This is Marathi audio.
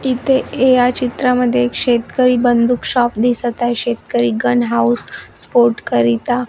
इथे या चित्रांमध्ये एक शेतकरी बंदूक शॉप दिसत आहे शेतकरी गन हाऊस स्पोर्ट करिता --